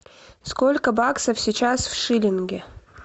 сколько баксов сейчас в шиллинге